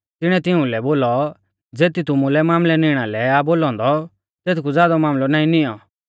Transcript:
तिणीऐ तिंऊ लै बोलौ ज़ेती तुमुलै मामलै निणा लै आ बोलौ औन्दौ तेथकु ज़ादौ मामलौ नाईं निऔं